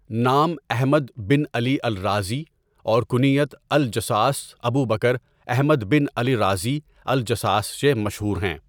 نام احمد بن على الرازى اوركنيت الجصاص ابوبكراحمد بن على الرازى الجصاص سے مشہور ہیں.